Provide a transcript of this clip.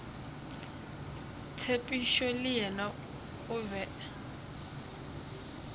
tshepišo le yena o be